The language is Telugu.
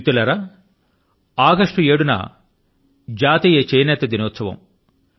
మిత్రులారా ఆగస్టు 7వ తేదీ న జాతీయ చేనేత దినోత్సవం